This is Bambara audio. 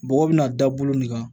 Bɔgɔ bɛna da bolo min kan